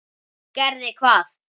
Gerði hvað?